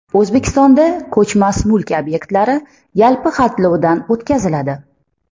O‘zbekistonda ko‘chmas mulk obyektlari yalpi xatlovdan o‘tkaziladi.